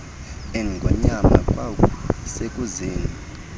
engonyama kwaku sekuzeni